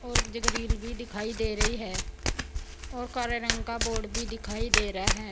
और जे ग्रिल भी दिखाई दे रही है और काले रंग का बोर्ड भी दिखाई दे रहा है।